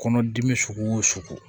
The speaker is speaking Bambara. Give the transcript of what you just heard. Kɔnɔdimi sugu o sugu